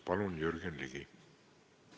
Palun, Jürgen Ligi!